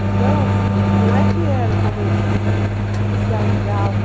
Então, não é que era como se alegava...